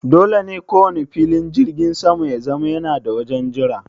Dole ne kowanne filin jirgin sama ya zama yana da wajen jira.